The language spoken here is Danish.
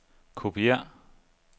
kopiér